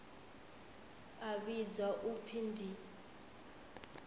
a vhidzwa u pfi ndi